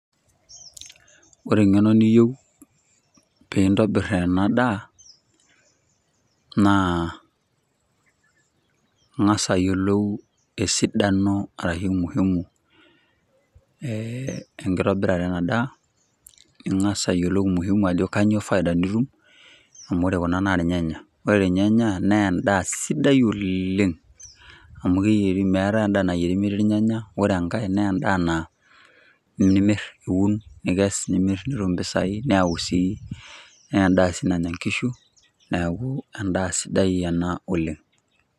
Ore engeno niyieu peyie intobir ena daa naa ingas ayoilou ajo kainyoo faida nitum tenintobir ena daa amuu ore kuna naa irnyanya. Ore irnyaya nemeeta endaa nayieri metii irnyanya. Ore enkaei iun irnyanya nilo amir nitum impisai. Ebdaa sii nanya inkishu. Endaa sidai ena oleng.